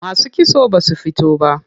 Masu kitso basu fito ba.